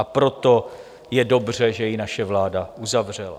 A proto je dobře, že ji naše vláda uzavřela.